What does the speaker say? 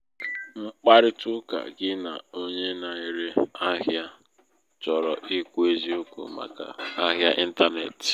ịkparịta ụka gị na onye na-ere ahịa chọrọ ikwu eziokwu màkà ahịa ịntanetị.